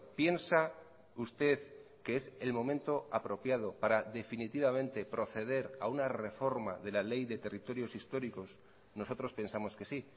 piensa usted que es el momento apropiado para definitivamente proceder a una reforma de la ley de territorios históricos nosotros pensamos que sí